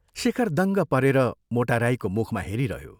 " शेखर दङ्ग परेर मोटा राईको मुखमा हेरिरह्यो।